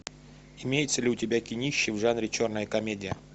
имеется ли у тебя кинище в жанре черная комедия